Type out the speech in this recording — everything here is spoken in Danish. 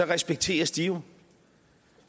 respekteres de